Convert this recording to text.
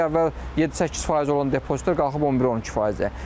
Əvvəl 7-8% olan depozitlər qalxıb 11-12%-ə.